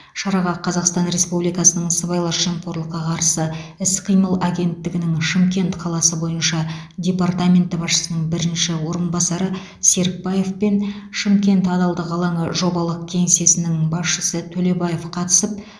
шараға қазақстан республикасының сыбайлас жемқорлыққа қарсы іс қимыл агенттігінің шымкент қаласы бойынша департаменті басшысының бірінші орынбасары серікбаев пен шымкент адалдық алаңы жобалық кеңсесінің басшысы төлебаев қатысып